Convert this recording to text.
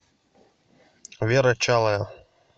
вера чалая